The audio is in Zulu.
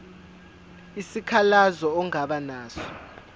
isikhalazo ongaba naso